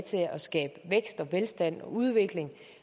til at skabe vækst velstand og udvikling